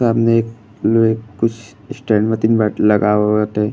सामने एक में कुछ स्टैंड मतीन मैट लगाव गए बाटे --